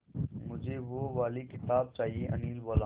मुझे वो वाली किताब चाहिए अनिल बोला